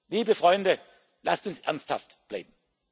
kürzen. Liebe Freunde, lasst uns ernsthaft